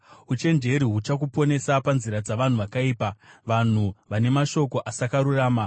Uchenjeri huchakuponesa panzira dzavanhu vakaipa, vanhu vane mashoko asakarurama,